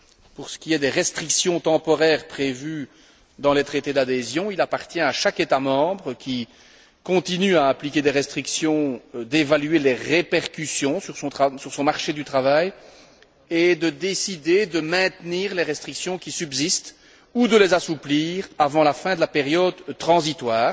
Pour ce qui est des restrictions temporaires prévues dans les traités d'adhésion, il appartient à chaque État membre qui continue à appliquer des restrictions d'évaluer les répercussions sur son marché du travail et de décider de maintenir les restrictions qui subsistent ou de les assouplir avant la fin de la période transitoire